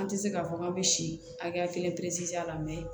An tɛ se k'a fɔ k'an bɛ si hakɛya kelen perese a la